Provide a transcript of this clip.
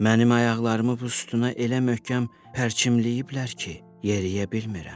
Mənim ayaqlarımı bustuna elə möhkəm pərçimləyiblər ki, yeriyə bilmirəm.